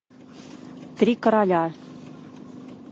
три короля